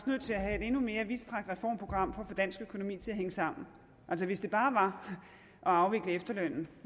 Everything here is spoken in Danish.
nødt til at have et endnu mere vidtstrakt reformprogram for at få dansk økonomi til at hænge sammen altså hvis det bare var at afvikle efterlønnen